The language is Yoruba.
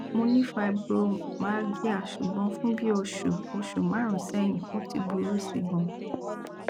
mo ni fibromyalgia ṣugbọn fun oṣu oṣu marunun sẹhin o ti buru si gan